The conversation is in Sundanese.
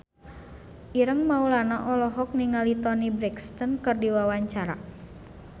Ireng Maulana olohok ningali Toni Brexton keur diwawancara